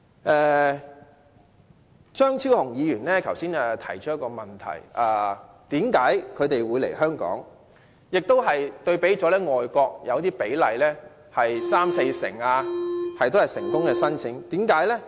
剛才張超雄議員提到一個問題，便是為甚麼他們會來香港——他拿外國的比例作比較，例如成功申請比率有三四成的——為甚麼呢？